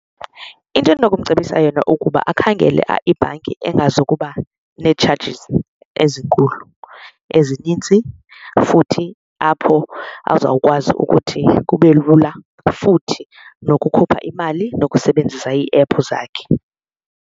Into endinokumcebisa yona ukuba akhangele ibhanki engazokuba nee-charges ezinkulu, ezininzi, futhi apho azawukwazi ukuthi kube lula futhi nokukhupha imali nokusebenzisa iiephu zakhe.